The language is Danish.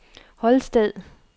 Holsted